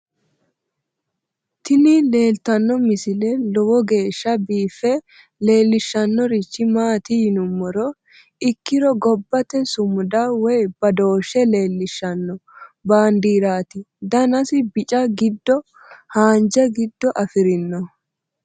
tini leeltanno misile lowo geeshsha biiffe leeellishshannorichi maati yinummoha ikkiro gobbate sumuda woy badooshshe leellishshanno baandiirati danasi bica giddo haanja giido afirino